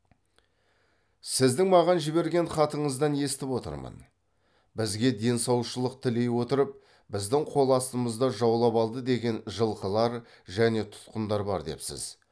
сіздің маған жіберген хатыңыздан естіп отырмын бізге денсаушылық тілей отырып біздің қол астымызда жаулап алды деген жылқылар және тұтқындар бар депсіз